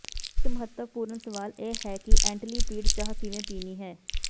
ਇੱਕ ਮਹੱਤਵਪੂਰਣ ਸਵਾਲ ਇਹ ਹੈ ਕਿ ਐਨਟਲੀਪੀਡ ਚਾਹ ਕਿਵੇਂ ਪੀਣੀ ਹੈ